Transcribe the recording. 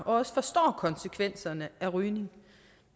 også forstår konsekvenserne af rygning